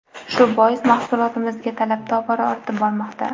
Shu bois mahsulotimizga talab tobora ortib bormoqda.